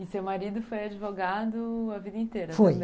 E seu marido foi advogado a vida inteira? foi